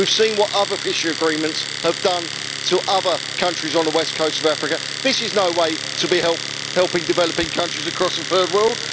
We have seen what other fishery agreements have done to other countries on the west coast of Africa. This is no way to be helping developing countries across the third world.